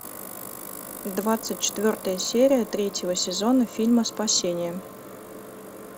двадцать четвертая серия третьего сезона фильма спасение